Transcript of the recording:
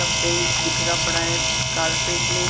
का पेंट बिखरा पड़ा है कार्पेट में--